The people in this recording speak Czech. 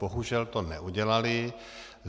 Bohužel to neudělali.